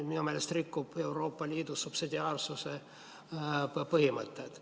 Minu meelest rikub see Euroopa Liidus subsidiaarsuse põhimõtet.